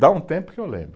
Dá um tempo que eu lembro.